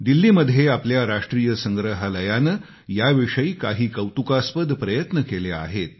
दिल्लीमध्ये आपल्या राष्ट्रीय संग्रहालयानं याविषयी काही कौतुकास्पद प्रयत्न केले आहेत